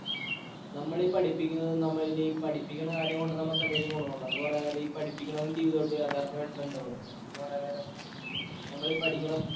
നമ്മൾ ഈ പഠിപ്പിക്കുന്നതും നമ്മൾ ഈ പഠിപ്പിക്കണ കാര്യംകൊണ്ട് നമുക്ക് എന്തെങ്കിലും ഗുണമുണ്ടോ എന്ന് പറയാൻ നേരം ഈ പഠിപ്പിക്കണതും ജീവിതവുമായിട്ട് യാഥാർഥ്യമായിട്ട് ബന്ധമുണ്ടോ എന്ന് പറയാൻ നേരം നമ്മൾ ഈ പഠിക്കണം